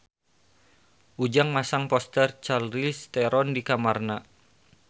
Ujang masang poster Charlize Theron di kamarna